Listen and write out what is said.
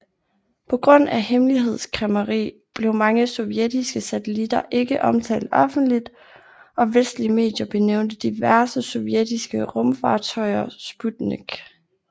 På grund af hemmelighedskræmmeri blev mange sovjetiske satellitter ikke omtalt offentligt og vestlige medier benævnte diverse sovjetiske rumfartøjer Sputnik